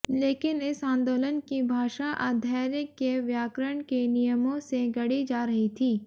लेकिन इस आंदोलन की भाषा अधैर्य के व्याकरण के नियमों से गढ़ी जा रही थी